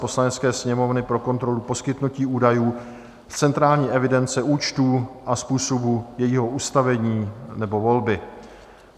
Poslanecké sněmovny pro kontrolu poskytnutí údajů z centrální evidence účtů a způsobu jejího ustavení nebo volby